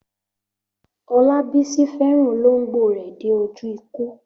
Olabisi fẹ́ràn olóńgbò rẹ̀ dé ojú ikú.